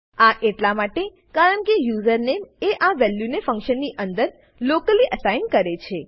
આ એટલા માટે કારણકે યુઝર નેમ એ આ વેલ્યુને ફંક્શનની અંદર લોકલી અસાઇન કરે છે